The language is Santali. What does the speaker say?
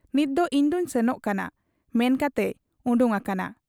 ᱱᱤᱛᱫᱚ ᱤᱧᱫᱚᱧ ᱥᱮᱱᱚᱜ ᱠᱟᱱᱟ ᱢᱮᱱ ᱠᱟᱛᱮᱭ ᱚᱰᱚᱠ ᱟᱠᱟᱱᱟ ᱾